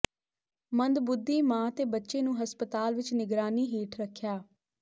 ਮੰਦਬੁੱਧੀ ਮਾਂ ਤੇ ਬੱਚੇ ਨੂੰ ਹਸਪਤਾਲ ਵਿਚ ਨਿਗਰਾਨੀ ਹੇਠ ਰੱਖਿਆ